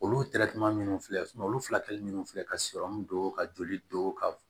Olu minnu filɛ olu fila kɛli minnu filɛ ka don ka joli don ka